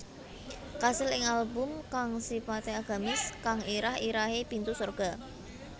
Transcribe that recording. Kasil ing album kang sipate agamis kang irah irahe Pintu Sorga